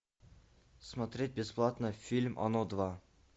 смотреть бесплатно фильм оно два